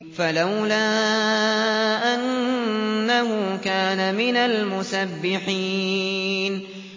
فَلَوْلَا أَنَّهُ كَانَ مِنَ الْمُسَبِّحِينَ